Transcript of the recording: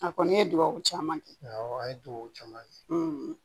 A kɔni ye dugawu caman kɛ awɔ a ye dugawu caman kɛ